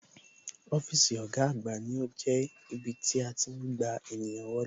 Ọ́fíìsì ọ̀gá àgbà ní ó jẹ́ ibí tí a tí ń gba ènìyàn wọlé